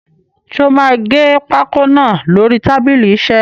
Ṣé o máa gé pákó náà lórí tábìlì isẹ́?